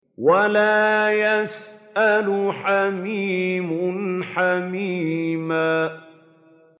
وَلَا يَسْأَلُ حَمِيمٌ حَمِيمًا